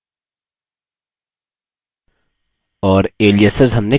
और aliases हमने कर लिया